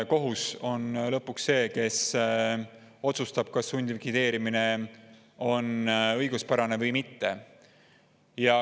Kohus on lõpuks see, kes otsustab, kas sundlikvideerimine on õiguspärane või mitte.